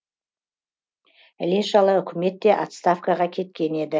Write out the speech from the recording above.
іле шала үкімет те отставкаға кеткен еді